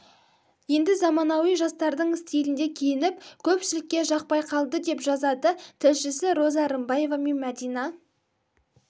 енді заманауи жастардың стилінде киініп көпшілікке жақпай қалды деп жазады тілшісі роза рымбаева мен мәдина